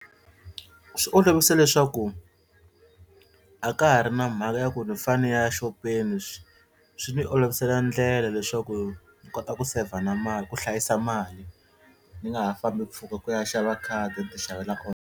Swi olovise leswaku a ka ha ri na mhaka ya ku ni fane ni ya xopeni swi swi ni olovisela ndlela leswaku ni kota ku saver na mali ku hlayisa mali ni nga ha fambi mpfhuka ku ya xava khadi ni tixavela .